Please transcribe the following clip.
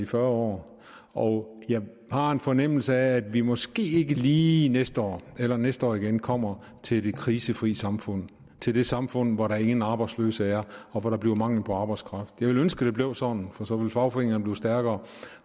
fyrre år og jeg har en fornemmelse af at vi måske ikke lige næste år eller næste år igen kommer til det krisefri samfund til det samfund hvor der ingen arbejdsløse er og hvor der bliver mangel på arbejdskraft jeg ville ønske at det blev sådan for så ville fagforeningerne blive stærkere